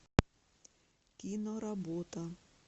киноработа